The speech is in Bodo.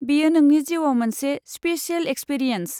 बेयो नोंनि जिउआव मोनसे स्पिसेल एक्सपिरियान्स।